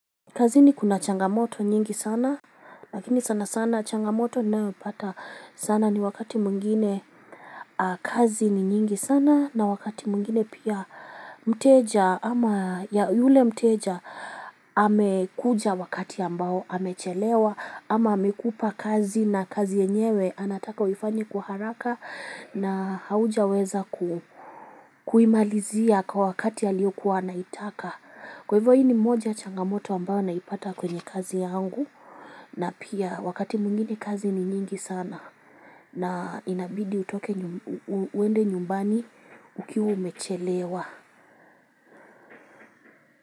Kazini kuna changamoto nyingi sana, lakini sana sana changamoto ninayo pata sana ni wakati mwingine kazi ni nyingi sana na wakati mwingine pia mteja ama ya yule mteja amekuja wakati ambao amechelewa ama amekupa kazi na kazi yenyewe anataka huifanye kwa haraka na haujaweza ku kuimalizia kwa wakati aliyo kuwa ana itaka kwa hivyo hii ni moja ya changamoto ambao naipata kwenye kazi yangu na pia wakati mwingine kazi ni nyingi sana na inabidi utoke uende nyumbani ukiwa umechelewa.